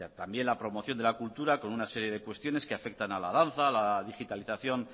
también la promoción de la cultura con una serie de cuestiones que afectan a la danza a la digitalización